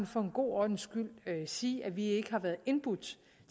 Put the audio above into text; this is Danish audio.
for en god ordens skyld sige at vi ikke har været indbudt